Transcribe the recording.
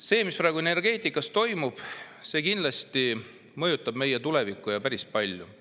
See, mis praegu energeetikas toimub, kindlasti mõjutab meie tulevikku, ja päris palju.